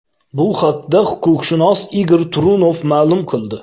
Bu haqda huquqshunos Igor Trunov ma’lum qildi.